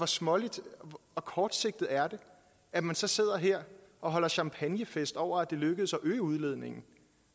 småligt og kortsigtet er det at man så sidder her og holder champagnefest over at det er lykkedes at øge udledningen